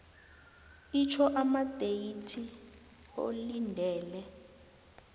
itjho amadeyithi olindele